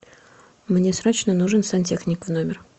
мне срочно нужен сантехник в номер